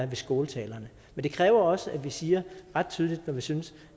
ved skåltalerne men det kræver også at vi siger det ret tydeligt når vi synes